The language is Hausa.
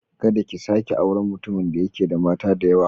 Kada ki sake auren mutumin da yake da mata da yawa.